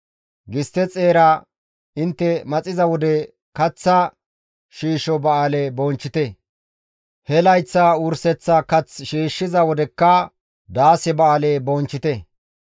«Gistte xeera intte maxiza wode kaththa shiisho Ba7aale bonchchite; he layththa wurseththa kath shiishshiza wodekka daase Ba7aale bonchchite.